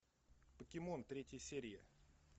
покемон третья серия